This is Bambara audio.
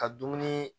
Ka dumuni